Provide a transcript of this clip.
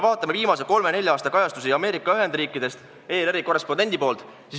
Vaatame viimase kolme-nelja aasta kajastusi Ameerika Ühendriikidest, mida on teinud ERR-i korrespondent.